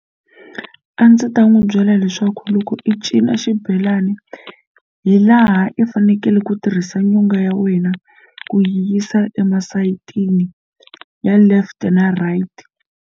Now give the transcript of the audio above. A ndzi ta n'wi byela leswaku loko i cina xibelani hi laha i fanekele ku tirhisa nyonga ya wena ku yi yisa emasayitini ya left na right.